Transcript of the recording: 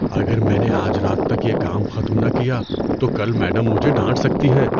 اگر میں نے آج رات تک یہ کام ختم نہ کیا تو کل میڈم مجھے ڈانٹ سکتی ہیں۔